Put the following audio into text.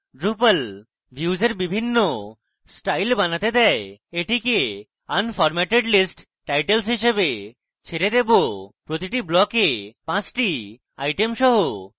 drupal views এর বিভিন্ন style বানাতে দেয় এটিকে unformatted list titles হিসাবে ছেড়ে দেবো প্রতি ব্লকে 5টি আইটেম সহ